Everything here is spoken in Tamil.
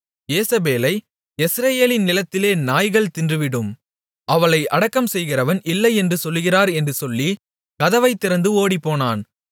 யேசபேலை யெஸ்ரயேலின் நிலத்திலே நாய்கள் தின்றுவிடும் அவளை அடக்கம்செய்கிறவன் இல்லையென்று சொல்கிறார் என்று சொல்லி கதவைத் திறந்து ஓடிப்போனான்